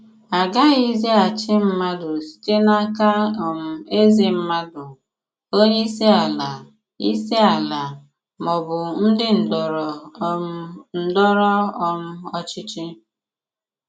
À gaghịzi àchì mmàdù site n'aka um èzè mmàdù, onye ìsì alà, ìsì alà, mà ọ̀ bụ̀ ndị ndọrọ um ndọrọ um òchìchì.